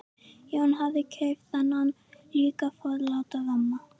Jón hafði keypt þennan líka forláta ramma.